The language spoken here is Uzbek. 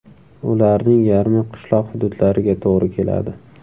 Ularning yarmi qishloq hududlariga to‘g‘ri keladi.